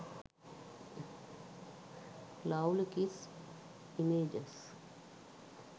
lovely kiss images